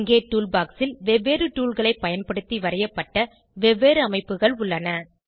இங்கே tool box ல் வெவ்வேறு toolகளை பயன்படுத்தி வரையப்பட்ட வெவ்வேறு அமைப்புகள் உள்ளன